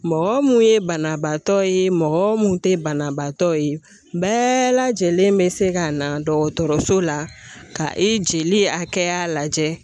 Mɔgɔ mun ye banabaatɔ ye mɔgɔ mun tɛ banabaatɔ ye bɛɛ lajɛlen bɛ se ka na dɔgɔtɔrɔso la ka i jeli hakɛya lajɛ